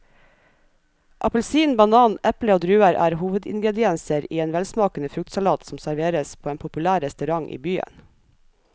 Appelsin, banan, eple og druer er hovedingredienser i en velsmakende fruktsalat som serveres på en populær restaurant i byen.